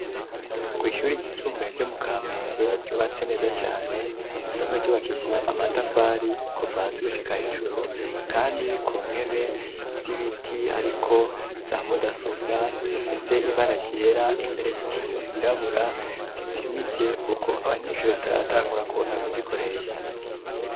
Kw ishuri ry'isumbuye ryo mu kamenge ryubatse neza cane isanzwe ryubakishije amatafari kuva hasi gushika hejuru kandi ku ntebe z'ibiti ariko za mudasobwa zifise ibara ryera imbere ku kiyo hirabura zizimije kuko abanyeshuri bataratangura kuza kuzikoresha.